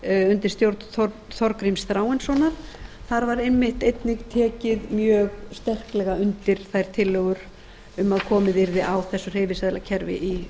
undir stjórn þorgríms þráinssonar þar var einmitt einnig tekið mjög sterklega undir þær tillögur um að komið yrði á þessu hreyfiseðlakerfi í